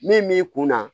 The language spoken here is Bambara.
Min b'i kun na